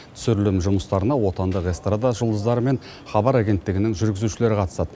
түсірілім жұмыстарына отандық эстрада жұлдыздары мен хабар агенттігінің жүргізушілері қатысады